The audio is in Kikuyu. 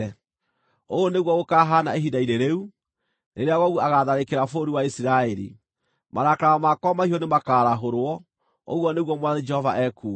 Ũũ nĩguo gũkaahaana ihinda-inĩ rĩu: Rĩrĩa Gogu agaatharĩkĩra bũrũri wa Isiraeli, marakara makwa mahiũ nĩmakarahũrwo, ũguo nĩguo Mwathani Jehova ekuuga.